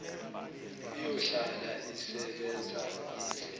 iyohlala isebenza ize